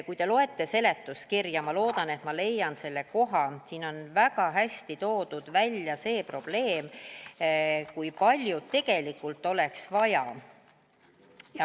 Kui te loete seletuskirja – ma loodan, et ma leian selle koha –, siin on väga hästi toodud välja see probleem, kui palju tegelikult oleks vaja.